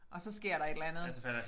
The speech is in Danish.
Og så sker der et eller andet